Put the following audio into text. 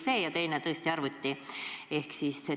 Ja teine tõesti arvutisüsteem.